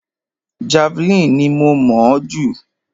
Javeline ni mo mọ̀ ọ́ jù.